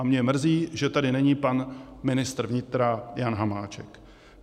A mě mrzí, že tady není pan ministr vnitra Jan Hamáček.